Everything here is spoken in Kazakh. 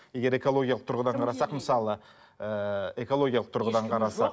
егер экологиялық тұрғыдан қарасақ мысалы ыыы экологиялық тұрғыдан қарсақ